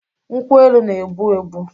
Nkwu-elu n'egbu -egbu